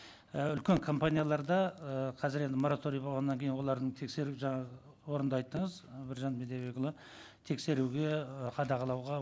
і үлкен компанияларда ы қазір енді мораторий болғаннан кейін олардың тексеріп жаңағы орынды айттыңыз ы біржан бидайбекұлы тексеруге ы қадағалауға